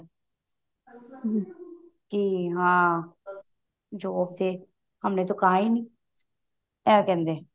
ਕੀ ਹਾਂ job ਤੇ ਹਮਨੇ ਤੋ ਖਾ ਹੀ ਨੀ ਇਹ ਕਹਿੰਦੇ